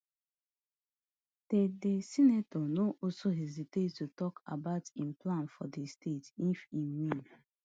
di di senator no also hesitate to tok about im plans for di state if e win